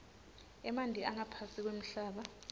emanti angaphansi kwemhlaba